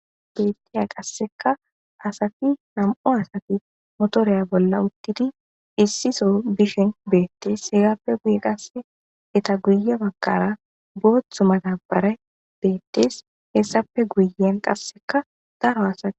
Beettiya qassika asati nam'u asati motoriya bolla uttidi issi so bishin beettees. hegappe guye qassi eta guye baggara booththa madabarey beettees. hessape guyen qassika daro asati bettes.